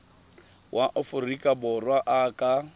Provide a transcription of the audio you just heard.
wa aforika borwa a ka